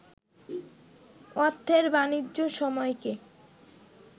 অর্থের বানিজ্য সময়কে